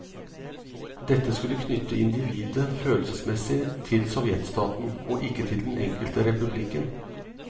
Dette skulle knytte individet følelsesmessig til sovjetstaten, og ikke til den enkelte republikken.